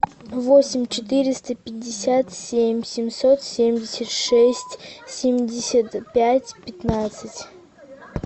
восемь четыреста пятьдесят семь семьсот семьдесят шесть семьдесят пять пятнадцать